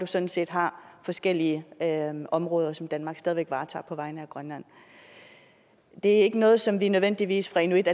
sådan set har forskellige områder som danmark stadig væk varetager på vegne af grønland det er ikke noget som vi nødvendigvis fra inuit